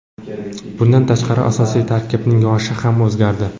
Bundan tashqari asosiy tarkibning yoshi ham o‘zgardi.